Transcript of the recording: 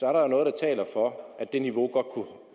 er der jo noget der taler for at det niveau godt kunne